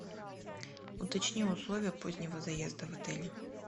уточни условия позднего заезда в отеле